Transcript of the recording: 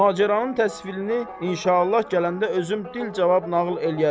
Macəranın təsvirini inşallah gələndə özüm dilcə nağıl eləyərəm.